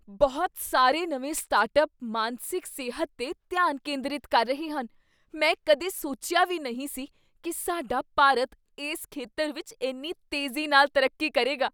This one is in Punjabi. ਬਹੁਤ ਸਾਰੇ ਨਵੇਂ ਸਟਾਰਟਅੱਪ ਮਾਨਸਿਕ ਸਿਹਤ 'ਤੇ ਧਿਆਨ ਕੇਂਦਰਿਤ ਕਰ ਰਹੇ ਹਨ! ਮੈਂ ਕਦੇ ਸੋਚਿਆ ਵੀ ਨਹੀਂ ਸੀ ਕੀ ਸਾਡਾ ਭਾਰਤ ਇਸ ਖੇਤਰ ਵਿੱਚ ਇੰਨੀ ਤੇਜ਼ੀ ਨਾਲ ਤਰੱਕੀ ਕਰੇਗਾ।